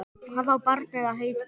Hvað á barnið að heita?